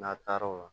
N'a taara o la